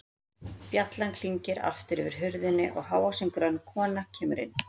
Bjallan klingir aftur yfir hurðinni og hávaxin, grönn kona kemur inn.